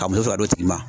Ka muso d'o tigi ma